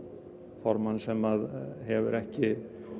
formann sem hefur ekki